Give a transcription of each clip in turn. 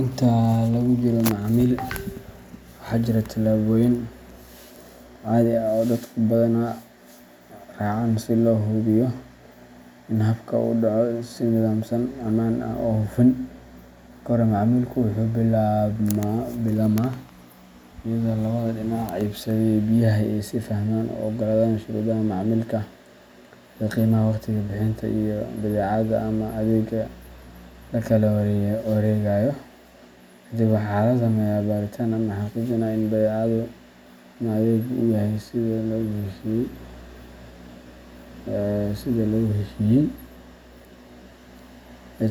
Inta lagu jiro macaamilka, waxaa jira tallaabooyin caadi ah oo dadku badanaa raacaan si loo hubiyo in habka uu u dhaco si nidaamsan, ammaan ah, oo hufan. Marka hore, macaamilku wuxuu billaabmaa iyadoo labada dhinac iibsadaha iyo iibiyaha ay is fahmaan oo ay oggolaadaan shuruudaha macaamilka, sida qiimaha, waqtiga bixinta, iyo badeecada ama adeegga la kala wareegayo. Kadib, waxaa la sameeyaa baaritaan ama xaqiijin ah in badeecada ama adeeggu yahay sida lagu heshiiyay,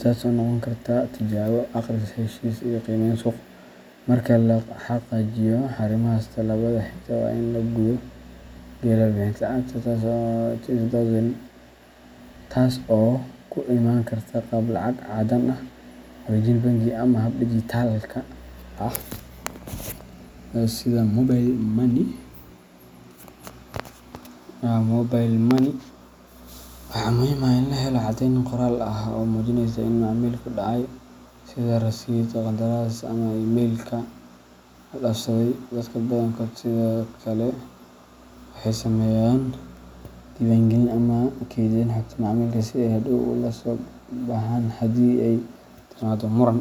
taas oo noqon karta tijaabo, akhris heshiis ama qiimeyn suuq. Marka la xaqiijiyo arrimahaas, tallaabada xigta waa in la guda galaa bixinta lacagta, taas oo ku imaan karta qaab lacag caddaan ah, wareejin bangi, ama hab digitalka ah sida mobile money. Waxaa muhiim ah in la helo caddeyn qoraal ah oo muujinaysa in macaamilku dhacay, sida rasiidh, qandaraas, ama email la is dhaafsaday. Dadka badankood sidoo kale waxay sameeyaan diiwaangelin ama keydin xogta macaamilka si ay hadhow ula soo baxaan haddii ay timaado muran.